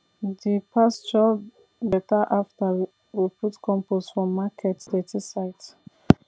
the pasture better after we we put compost from market dirty site